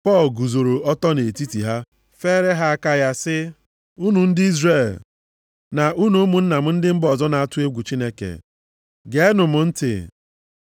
Pọl guzoro ọtọ nʼetiti ha feere ha aka ya, sị, “Unu ndị Izrel na unu ụmụnna m ndị mba ọzọ na-atụ egwu Chineke. Geenụ m ntị.